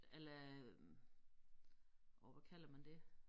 A la øh åh hvad kalder man det